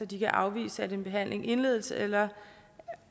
de kan afvise at en behandling indledes eller